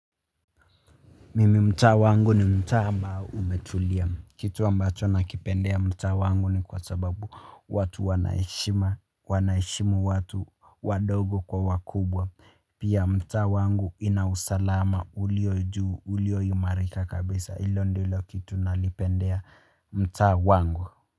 Mimi mtaa wangu ni mtaa ambao umetulia kitu ambacho nakipendea mtaa wangu ni kwa sababu watu wana heshima wanaheshimu watu wadogo kwa wakubwa. Pia mtaa wangu ina usalama ulio juu ulioimarika kabisa ilo ndilo kitu nalipendea mtaa wangu.